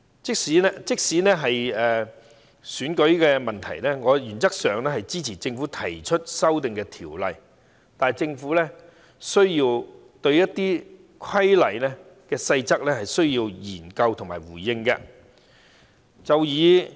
即使在選舉的問題上，我原則上支持政府提出的《條例草案》，但政府亦需要就一些規例的細則作出研究和回應。